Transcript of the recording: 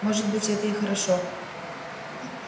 может быть это и хорошо